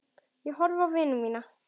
Ég horfði á vini mína.